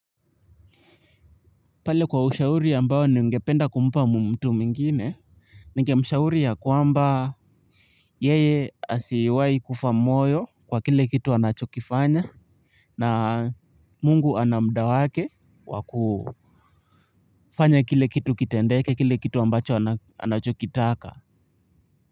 Pale kwa ushauri ambao ningependa kumpa mtu mwingine, ningemshauri ya kwamba yeye asiwahi kufa moyo kwa kile kitu anachokifanya na mungu ana muda wake wa kufanya kile kitu kitendeke, kile kitu ambacho anachokitaka.